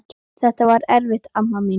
Þetta var erfitt amma mín.